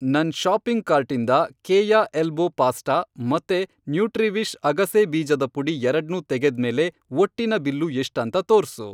ನನ್ ಷಾಪಿಂಗ್ ಕಾರ್ಟಿಂದ Keya elbow pasta ಮತ್ತೆ ನ್ಯೂಟ್ರಿವಿಷ್ ಅಗಸೆ ಬೀಜದ ಪುಡಿ ಎರಡ್ನೂ ತೆಗೆದ್ಮೇಲೆ ಒಟ್ಟಿನ ಬಿಲ್ಲು ಎಷ್ಟಂತ ತೋರ್ಸು.